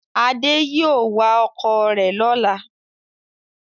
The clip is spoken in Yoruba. Adé yóò wa ọkọ̀ rẹ̀ lọlé!